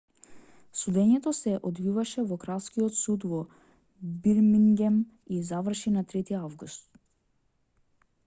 судењето се одвиваше во кралскиот суд во бирмингем и заврши на 3-ти август